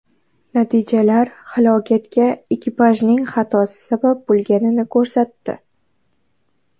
Natijalar halokatga ekipajning xatosi sabab bo‘lganini ko‘rsatdi.